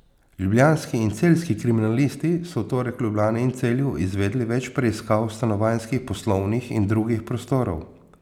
Ljubljanski in celjski kriminalisti so v torek v Ljubljani in Celju izvedli več preiskav stanovanjskih, poslovnih in drugih prostorov.